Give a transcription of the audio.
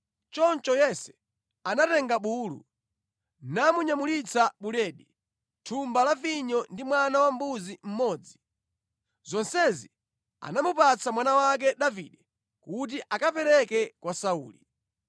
Choncho Yese anatenga bulu namunyamulitsa buledi, thumba la vinyo ndi mwana wambuzi mmodzi. Zonsezi anamupatsa mwana wake Davide kuti akapereke kwa Sauli.